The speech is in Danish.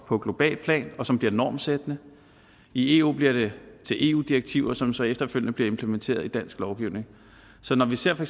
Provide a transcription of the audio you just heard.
på globalt plan og som bliver normsættende i eu bliver det til eu direktiver som så efterfølgende bliver implementeret i dansk lovgivning så når vi ser for